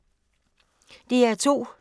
DR2